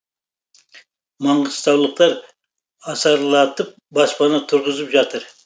маңғыстаулықтар асарлатып баспана тұрғызып жатыр